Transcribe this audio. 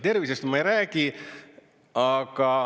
Tervisest ma ei räägi.